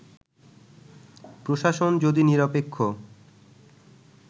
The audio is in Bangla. প্রশাসন যদি নিরপেক্ষ